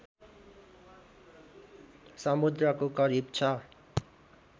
समुद्रको करिब ६